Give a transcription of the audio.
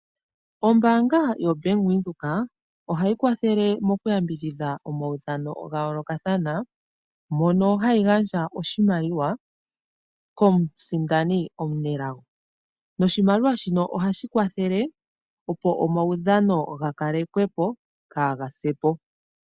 Ombaanga yo Bank Windhoek, ohayi kwathele mokuyambidhidha omaudhano ga yoolokathana, mono hayi gandja oshimaliwa komusindani omunelago. Oshimaliwa shino ohashi kwathele, opo omaudhano ga kalekwepo.